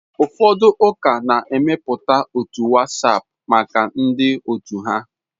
Ụfọdụ ụka na-emepụta otu WhatsApp maka ndị otu ha.